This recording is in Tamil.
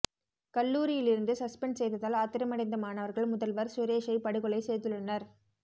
கல்லூரியிலிருந்து சஸ்பென்ட் செய்ததால் ஆத்திரமடைந்த மாணவர்கள் முதல்வர் சுரேஷை படுகொலை செய்துள்ளனர்